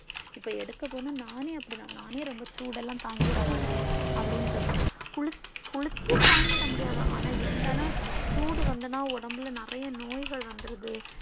இப்போ எடுக்க போன நானே அப்டி தான் நானே ரொம்ப சூடேல்லா தாங்கிட மாட்டேன் அப்டின்னு சொல்லலாம் குளி குளித்தியும தாங்கிட முடியாது ஆனா இருந்தாலும் சூடு வந்ததுன்னா ஒடம்புல நெறைய நோய்கள் வந்துருது